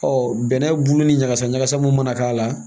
Ɔ bɛnɛ bulu ni ɲagasa ɲagasa mun mana k'a la